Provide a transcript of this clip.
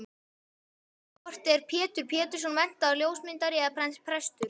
Hvort er Pétur Pétursson menntaður ljósmyndari eða prestur?